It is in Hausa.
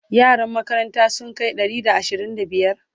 yaran makarantan sun Kai Ɗari da ashirin da biyar?